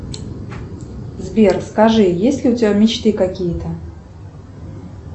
сбер скажи есть ли у тебя мечты какие то